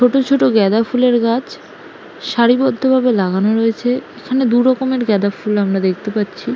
ছোট ছোট গেঁদা ফুলের গাছ সারিবদ্ধভাবে লাগানো রয়েছে। এখানে দু রকমের গেঁদা ফুল আমরা দেখতে পাচ্ছি।